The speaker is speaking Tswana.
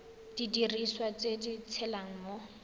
didiriswa tse di tshelang mo